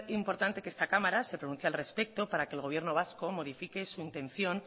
importante que esta cámara se pronuncie al respecto para que el gobierno vasco modifique su intención